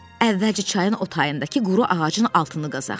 Əvvəlcə çayın o tayındakı quru ağacın altını qazaq.